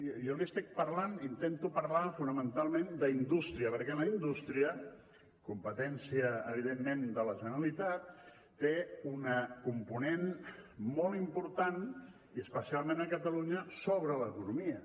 jo li estic parlant intento parlar fonamentalment d’indústria perquè la indústria competència evidentment de la generalitat té un component molt important i especialment a catalunya sobre l’economia